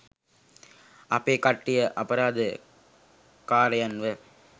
අපේ කට්ටිය අපරාද කාරයන්ව